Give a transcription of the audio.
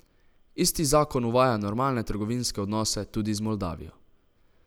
Isti zakon uvaja normalne trgovinske odnose tudi z Moldavijo.